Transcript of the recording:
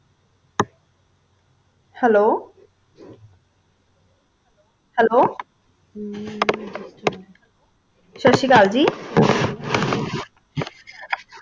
hello hello ਸਾਸਰੀਕਾਲ ਜੀ